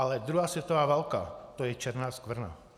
Ale druhá světová válka, to je černá skvrna.